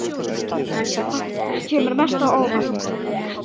Hvað kemur mest á óvart?